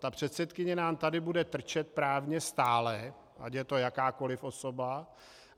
Ta předsedkyně nám tady bude trčet právně stále, ať je to jakákoliv osoba.